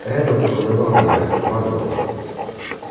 реддл заколдовал меня командовал